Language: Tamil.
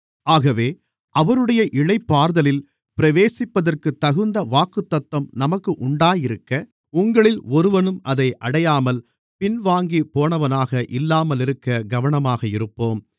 ஆகவே அவருடைய இளைப்பாறுதலில் பிரவேசிப்பதற்குத் தகுந்த வாக்குத்தத்தம் நமக்கு உண்டாயிருக்க உங்களில் ஒருவனும் அதை அடையாமல் பின்வாங்கிப்போனவனாக இல்லாமலிருக்கக் கவனமாக இருப்போம்